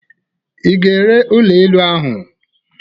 Ị ga-ere ụlọ elu ahụ?